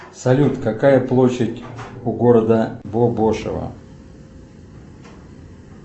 салют какая площадь у города бобошево